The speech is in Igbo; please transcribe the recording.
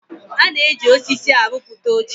A na-eji osisi aruputa oche